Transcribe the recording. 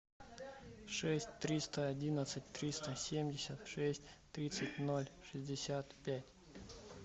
шесть триста одиннадцать триста семьдесят шесть тридцать ноль шестьдесят пять